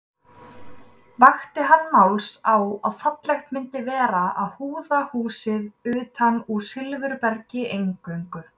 Vakti hann máls á að fallegt myndi vera að húða húsið utan úr silfurbergi eingöngu.